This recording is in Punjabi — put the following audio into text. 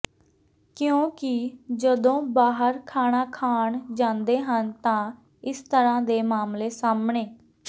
ਕਿਉਂਕਿ ਜਦੋ ਬਾਹਰ ਖਾਣਾ ਖਾਣ ਜਾਂਦੇ ਹਨ ਤਾਂ ਇਸ ਤਰ੍ਹਾਂ ਦੇ ਮਾਮਲੇ ਸਾਹਮਣੇ